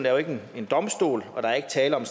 er jo ikke en domstol og der er ikke tale om